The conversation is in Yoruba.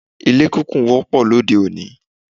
Ilé kíkùn wọ́pọ̀ lóde òní.